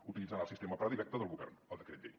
utilitzant el sistema predilecte del govern el decret llei